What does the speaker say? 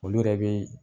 Olu yɛrɛ bɛ